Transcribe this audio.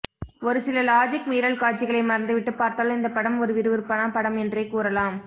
ஒருசில லாஜிக் மீறல் காட்சிகளை மறந்துவிட்டு பார்த்தால் இந்த படம் ஒரு விறுவிறுப்பான படம் என்றே கூறலாம்